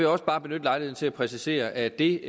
også bare benytte lejligheden til at præcisere at det